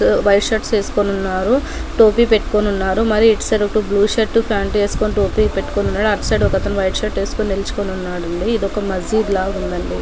White shirt వేసుకుని ఉన్నారు టోపీ పెట్టుకుని ఉన్నారు మరియు ఇటు సైడ్ బ్లూ షర్ట్ పాంట్ వేసుని టోపీ పెట్టుకుని ఉన్నాడు. అటు సైడ్ ఒకతను వైట్ షర్ట్ వేసుకుని నిల్చుని ఉన్నాడు ఇదొక మసీద్ లాగా ఉందండీ.